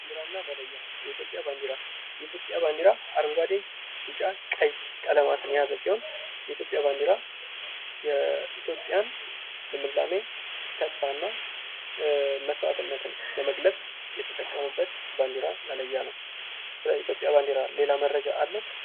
ባንዲራ እና መለያ የኢትዮጵያ ባንዲራ የኢትዮጵያ ባንዲራ አረንጓዴ ፣ቢጫ ፣ ቀይ ቀለማትን የያዘ ሲሆን፤ የኢትዮጵያ ባንዲራ የኢትዮጵያን ልምላሜ ተስፋና መስዋዕትነትን ለመግለጽ የተጠቀሙበት ባንዲራ መለያ ነው። ስለዚህ ኢትዮጵያ ባንዲራ ሌላ መረጃ አለዎት?